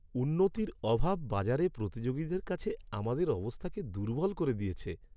উন্নতির অভাব বাজারে প্রতিযোগীদের কাছে আমাদের অবস্থাকে দুর্বল করে দিয়েছে।